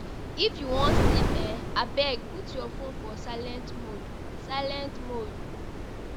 If you wan sleep um, abeg put your fone for silent mode. silent mode.